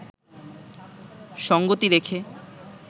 সঙ্গতি রেখে